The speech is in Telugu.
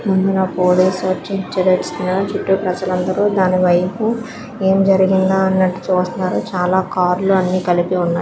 ముందున పోలీసు లు వచ్చి చుట్టు ప్రజలు అందరూ దానివైపు ఏం జరిగిందో అన్నట్టు చూస్తున్నారు. చాలా కార్ లు అన్ని కలిపి ఉన్నాయి.